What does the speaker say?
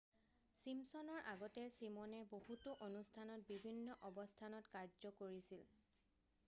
ছিমছনৰ আগতে ছিমনে বহুতো অনুষ্ঠানত বিভিন্ন অৱস্থানত কাৰ্য কৰিছিল